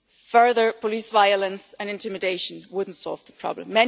Further police violence and intimidation will not solve the problem.